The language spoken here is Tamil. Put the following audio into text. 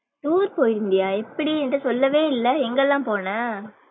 tour போயிருந்தியா எப்டி என்ட சொல்லவே இல்ல எங்கலாம் போன?